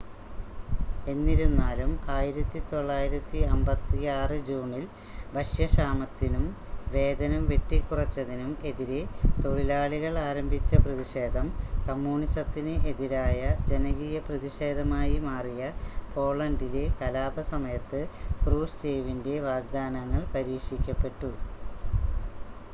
എന്നിരുന്നാലും 1956 ജൂണിൽ ഭക്ഷ്യക്ഷാമത്തിനും വേതനം വെട്ടിക്കുറച്ചതിനും എതിരെ തൊഴിലാളികൾ ആരംഭിച്ച പ്രതിക്ഷേധം കമ്മ്യൂണസത്തിന് എതിരായ ജനകീയ പ്രതിക്ഷേധമായി മാറിയ പോളണ്ടിലെ കലാപ സമയത്ത് ക്രൂഷ്ചേവിൻ്റെ വാഗ്ദാനങ്ങൾ പരീക്ഷിക്കപ്പെട്ടു